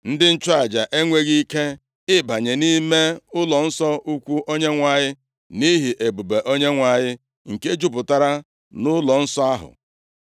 Ndị nchụaja enweghị ike ịbanye nʼime ụlọnsọ ukwu Onyenwe anyị nʼihi ebube Onyenwe anyị nke jupụtara ụlọnsọ ahụ.